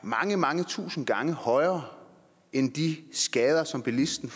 mange mange tusinde gange højere end de skader som bilisterne